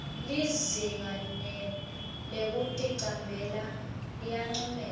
lizinga lekuticambela liyancomeka